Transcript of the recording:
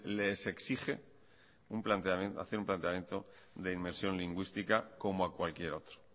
les exige hacer un planteamiento de inmersión lingüística como a cualquier otro